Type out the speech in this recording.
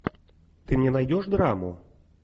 ты мне найдешь драму